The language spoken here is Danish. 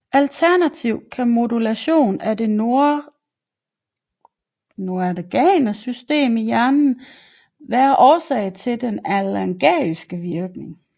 Alternativt kan modulation af det noradrenerge system i hjernen være årsag til den analgetiske virkning